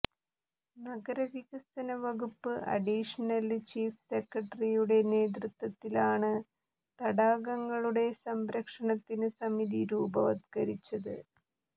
നഗരവികസന വകുപ്പ് additional chief സെക്രട്ടറിയുടെ നേതൃത്വത്തിലാണ് തടാകങ്ങളുടെ സംരക്ഷണത്തിന് സമിതി രൂപവത്കരിച്ചത്